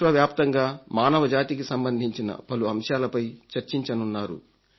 విశ్వవ్యాప్తంగా మానవ జాతికి సంబంధించిన పలు అంశాలపై చర్చించనున్నారు